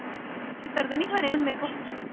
ਛਿੱਤਰ ਤਾਂ ਨੀ ਖਾਣੇ ਹੁਣ ਮੇਰੇ ਕੋ